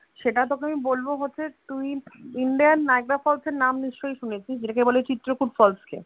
সেটা তোকে আমি বলবো হচ্ছে তুই Indian Niagra Falls এর নাম নিশ্চয়ই শুনেছিস যেটাকে বলে চিত্রকূট falls কে,